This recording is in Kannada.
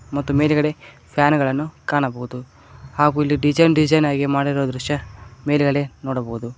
ಮತ್ತು ಮೇಲ್ಗಡೆ ಫ್ಯಾನುಗಳನ್ನು ಕಾಣಬಹುದು ಹಾಗೂ ಇಲ್ಲಿ ಡಿಸೈನ್ ಡಿಸೈನ್ ಆಗಿ ಮಾಡಿರುವ ದೃಶ್ಯ ಮೇಲಿನಲ್ಲಿ ನೋಡಬೋದು.